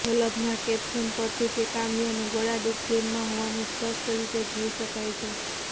શલભના caption પરથી તે કામ્યાનું ગળાડૂબ પ્રેમમાં હોવાનું સ્પષ્ટ રીતે જોઈ શકાય છે